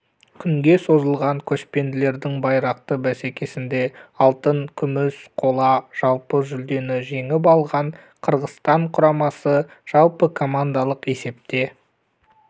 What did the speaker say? күнге созылған көшпенділердің байрақты бәсекесінде алтын күміс қола жалпы жүлдені жеңіп алған қырғызстан құрамасы жалпыкомандалық есепте